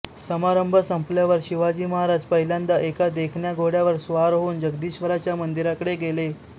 समारंभ संपल्यावर शिवाजी महाराज पहिल्यांदा एका देखण्या घोड्यावर स्वार होऊन जगदीश्वराच्या मंदिराकडे गेले